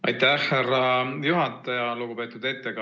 Aitäh, härra juhataja!